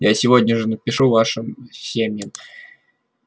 я сегодня же напишу вашим семьям